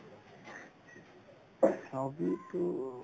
hobby তো